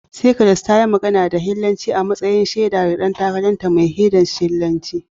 Cyprus, ta yi magana da Hellenanci a matsayin shaida ga dangantakarta mai ɗorewa da tasirin Hellenistic